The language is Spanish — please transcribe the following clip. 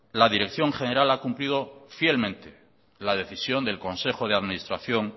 la dirección general ha cumplido fielmente la decisión del consejo de administración